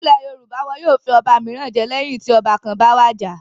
Nílẹ̀ Yorùbá, wọn yóò fi ọba mìíràn jẹ lẹ́yìn tí ọba kan bá wàjà.